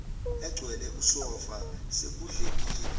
egcwele usofa sekudlekile